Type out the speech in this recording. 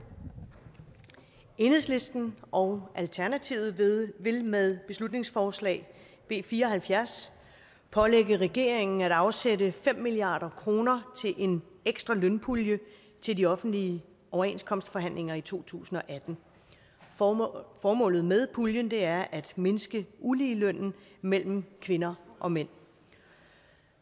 enhedslisten og alternativet vil med beslutningsforslag b fire og halvfjerds pålægge regeringen at afsætte fem milliard kroner til en ekstra lønpulje til de offentlige overenskomstforhandlinger i to tusind og atten formålet formålet med puljen er at mindske uligelønnen mellem kvinder og mænd